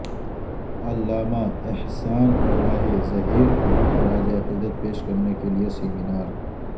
علامہ احسان الہی ظہیر کو خراج عقیدت پیش کرنے کے لئے سیمینار